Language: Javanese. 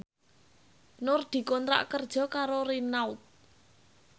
Nur dikontrak kerja karo Renault